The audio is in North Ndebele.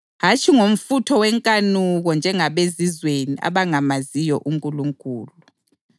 hatshi ngomfutho wenkanuko njengabezizweni abangamaziyo uNkulunkulu.